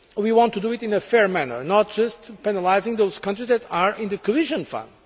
We want to do it in a fair manner, not just penalising those countries that are in the Cohesion Fund.